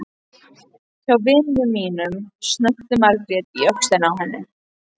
Hjá vini mínum, snökti Margrét í öxlina á henni.